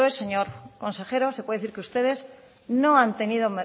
después señor consejero se puede decir que ustedes